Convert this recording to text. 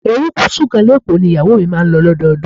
Erékùsù kan ní Èkó ni ìyàwó mi máa ń lò lọ́dọọdún.